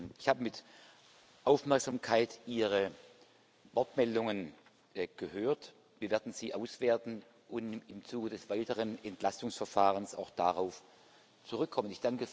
Ich habe mit Aufmerksamkeit Ihre Wortmeldungen gehört. Wir werden sie auswerten und im Zuge des weiteren Entlastungsverfahrens auch darauf zurückkommen.